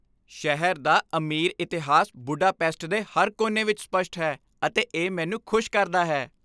ਸ਼ਹਿਰ ਦਾ ਅਮੀਰ ਇਤਿਹਾਸ ਬੁਡਾਪੇਸਟ ਦੇ ਹਰ ਕੋਨੇ ਵਿੱਚ ਸਪੱਸ਼ਟ ਹੈ, ਅਤੇ ਇਹ ਮੈਨੂੰ ਖੁਸ਼ ਕਰਦਾ ਹੈ।